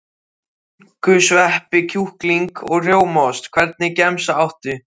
Skinku sveppi kjúkling og rjómaost Hvernig gemsa áttu?